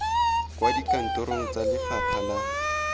kwa dikantorong tsa lefapha la